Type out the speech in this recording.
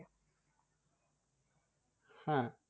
হ্যাঁ